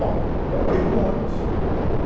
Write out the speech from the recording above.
Bom, comprei um ônibus.